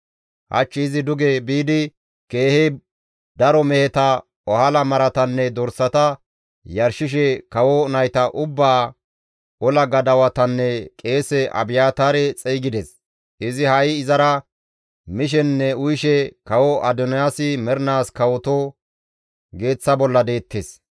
Hach izi duge biidi keehi daro meheta, ohala maratanne dorsata yarshishe kawo nayta ubbaa, ola gadawatanne qeese Abiyaataare xeygides; izi ha7i izara mishenne uyishe, ‹Kawo Adoniyaasi mernaas kawoto!› geeththa bolla deettes.